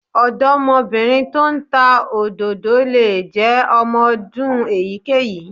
Ọ̀dọ́mọbìnrin tó ń ta òdòdó lè jẹ́ ọmọ ọdún èyíkéyìí